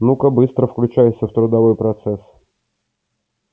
ну-ка быстро включайся в трудовой процесс